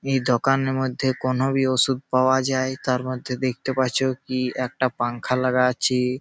এই দোকানের মধ্যে কোন বি ওষুধ পাওয়া যায় তার মধ্যে দেখতে পাচ্ছ কি একটা পাংখা লাগা আছে।